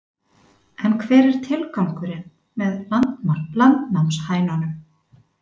En hver er tilgangurinn með landnámshænunum?